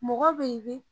Mɔgɔ bɛ ye